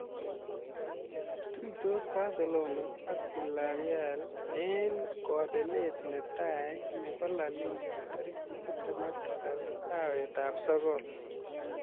Tuitos Barcelona ak Villarreal eng kobelet netai nebo La Liga tarik tiptem ak tisab arawetab sokol.